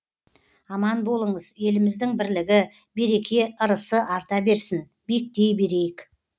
аман болыңыз еліміздің бірлігі береке ырысы арта берсін биіктей берейік